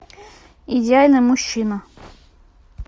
идеальный мужчина